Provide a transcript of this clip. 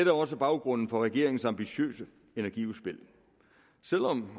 er også baggrunden for regeringens ambitiøse energiudspil selv om